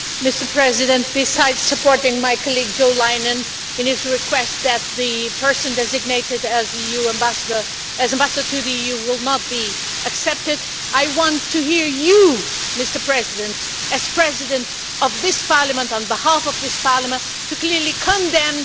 Mr President, besides supporting my colleague, Jo Leinen, in his request that the person designated as Ambassador to the EU will not be accepted, I want to hear you, Mr President as President of this Parliament and on behalf of this Parliament to clearly condemn